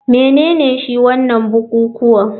Menene shi wanan bukukuwa,